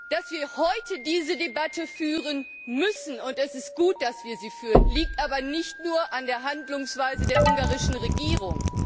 Dass wir heute diese Debatte führen müssen und es ist gut, dass wir sie führen liegt aber nicht nur an der Handlungsweise der ungarischen Regierung.